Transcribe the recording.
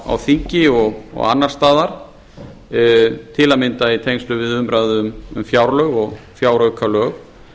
á þingi og annars staðar til að mynda í tengslum við umræðu um fjárlög og fjáraukalög